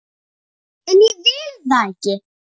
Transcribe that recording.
En ég vil það ekki.